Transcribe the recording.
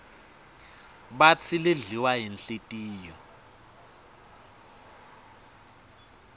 batsi lidliwa yinhlitiyo